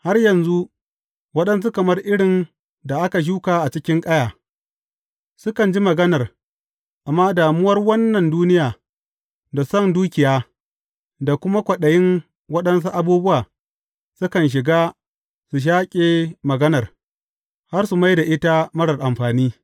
Har yanzu, waɗansu kamar irin da aka shuka cikin ƙaya, sukan ji maganar, amma damuwar wannan duniya, da son dukiya, da kuma kwaɗayin waɗansu abubuwa, sukan shiga, su shaƙe maganar, har su mai da ita marar amfani.